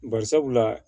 Bari sabula